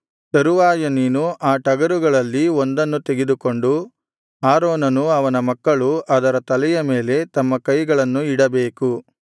ತರುವಾಯ ನೀನು ಆ ಟಗರುಗಳಲ್ಲಿ ಒಂದನ್ನು ತೆಗೆದುಕೊಂಡು ಆರೋನನೂ ಅವನ ಮಕ್ಕಳೂ ಅದರ ತಲೆಯ ಮೇಲೆ ತಮ್ಮ ಕೈಗಳನ್ನು ಇಡಬೇಕು